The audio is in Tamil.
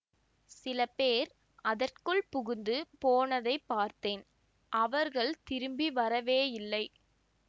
சில பேர் அதற்குள் புகுந்து போனதைப் பார்த்தேன் அவர்கள் திரும்பி வரவேயில்லை